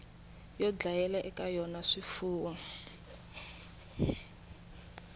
yo dlayela eka yona swifuwo